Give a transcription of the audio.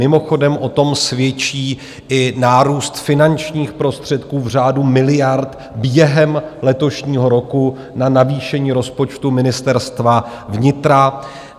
Mimochodem o tom svědčí i nárůst finančních prostředků v řádu miliard během letošního roku na navýšení rozpočtu Ministerstva vnitra.